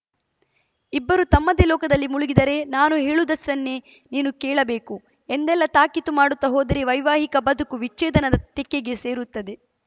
ಇಬ್ಬರೂ ತಮ್ಮದೇ ಲೋಕದಲ್ಲಿ ಮುಳುಗಿದರೆ ನಾನು ಹೇಳುವುದಷ್ಟನ್ನೇ ನೀನು ಕೇಳಬೇಕು ಎಂದೆಲ್ಲಾ ತಾಕೀತು ಮಾಡುತ್ತಾ ಹೋದರೆ ವೈವಾಹಿಕ ಬದುಕು ವಿಚ್ಛೇದನದ ತೆಕ್ಕೆಗೆ ಸೇರುತ್ತದೆ